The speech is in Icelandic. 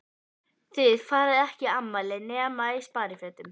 Þið farið ekki í afmæli nema í sparifötunum.